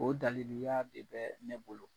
O daliluya de bɛ ne bolo.